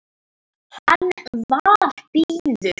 Hann var blíður.